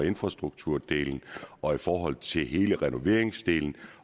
infrastrukturdelen og i forhold til hele renoveringsdelen